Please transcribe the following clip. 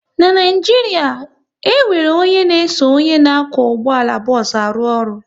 N'Naijiria, e nwere onye n'eso onye na-akwọ ụgbọala bos arụ ọrụ